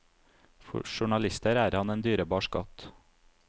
For journalister er han en dyrebar skatt.